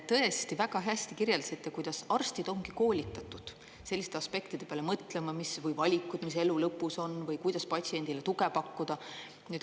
Tõesti, väga hästi kirjeldasite, kuidas arstid on koolitatud selliste aspektide peale mõtlema, mis valikud elu lõpus on või kuidas patsiendile tuge pakkuda.